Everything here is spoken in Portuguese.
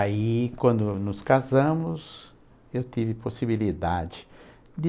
Aí, quando nos casamos, eu tive possibilidade de